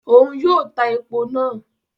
Òun yóò tá èpò náà